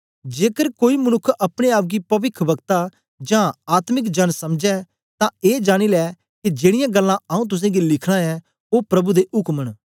जेकर कोई मनुक्ख अपने आप गी पविखवक्ता जां आत्मिक जना समझै तां ए जानी लै के जेड़ीयां गल्लां आऊँ तुसेंगी लिखना ऐं ओ प्रभु दे उक्म न